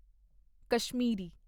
Kashmiri